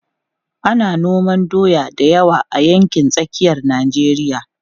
Ana noman doya da yawa a yankin tsakiyar Najeriya.